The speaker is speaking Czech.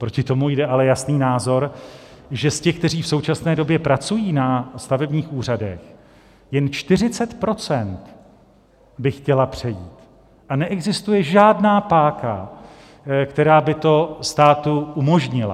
Proti tomu jde ale jasný názor, že z těch, kteří v současné době pracují na stavebních úřadech, jen 40 % by chtělo přejít a neexistuje žádná páka, která by to státu umožnila.